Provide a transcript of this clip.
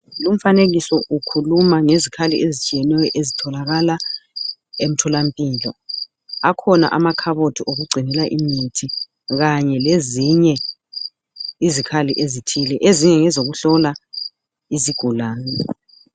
Lumfanekiso ukhuluma ngezikhali ezitshiyeneyo ezitholakala emtholampilo akhona amakhabothi wokugcinela imithi Kanye lezinye izikhali ezithile ezinye ngezokuhlola izigulani